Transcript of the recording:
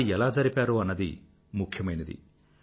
అది ఎలా జరిపారో అన్నది ముఖ్యమైనది